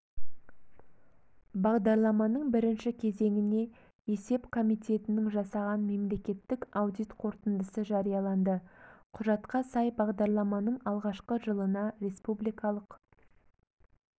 бағдарламаның бірінші кезеңіне есеп комитетінің жасаған мемлекеттік аудит қорытындысы жарияланды құжатқа сай бағдарламаның алғашқы жылына республикалық